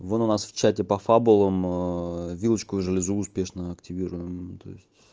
вот у нас в чате по фабулам вилочковую железу успешно активируем то есть